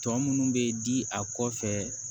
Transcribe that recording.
Tɔ minnu bɛ di a kɔfɛ